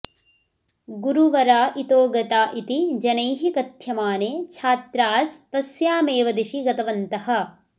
गुरुवरा इतो गता इति जनैः कथ्यमाने छात्रास्तस्यामेव दिशि गतवन्तः